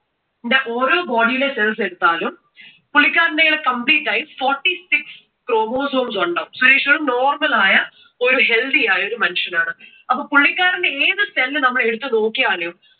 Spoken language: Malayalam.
ഓരോ body യിലെ cells എടുത്താലും പുള്ളിക്കാരന്റെ കയ്യിൽ complete ആയി forty six forty six chromosomes ഉണ്ടാകും. സുരേഷ് ഒരു normal ആയ ഒരു healthy ആയ ഒരു മനുഷ്യനാണ്. അപ്പോ പുള്ളിക്കാരന്റെ ഏതു cell നമ്മൾ എടുത്തു നോക്കിയാലും